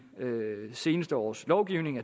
seneste års lovgivning